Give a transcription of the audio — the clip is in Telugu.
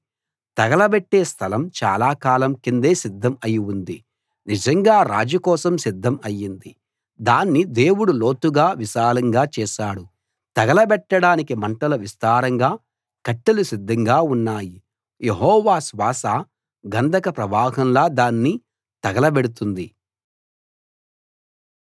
తగలబెట్టే స్థలం చాలా కాలం కిందే సిద్ధం అయి ఉంది నిజంగా రాజు కోసం సిద్ధం అయింది దాన్ని దేవుడు లోతుగా విశాలంగా చేశాడు తగలబెట్టడానికి మంటలు విస్తారంగా కట్టెలు సిద్ధంగా ఉన్నాయి యెహోవా శ్వాస గంధక ప్రవాహంలా దాన్ని తగలబెడుతుంది